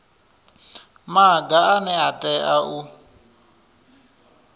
maga ane a tea u